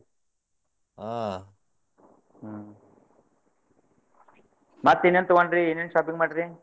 ಹಾ ಹ್ಮ್ ಮತ್ತೇ ಇನ್ನೇನ್ ತೊಗೊಂಡ್ರಿ, ಏನೇನ್ shopping ಮಾಡಿರಿ?